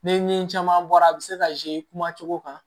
Ni caman bɔra a bɛ se ka kuma cogo kan